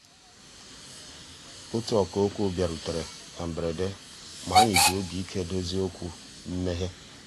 ótú ọ̀kà òkwú bìàrùtérè ná mbérèdé mà ànyị́ jì òbí íké dòzié òkwú mméghé.